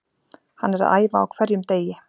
Hann er að æfa á hverjum degi.